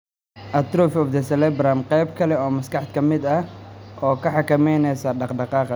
Atrophy of the cerebellum, qayb kale oo maskaxda ka mid ah oo xakameynaysa dhaqdhaqaaqa.